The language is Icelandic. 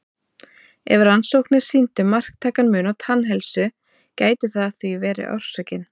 Ef rannsóknir sýndu marktækan mun á tannheilsu gæti það því verið orsökin.